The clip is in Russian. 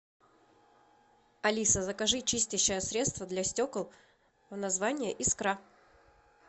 алиса закажи чистящее средство для стекол название искра